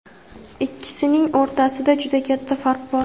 Ikkisining o‘rtasida juda katta farq bor.